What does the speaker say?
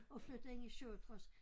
Og flyttede ind i 67